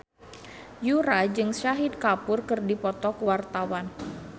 Yura jeung Shahid Kapoor keur dipoto ku wartawan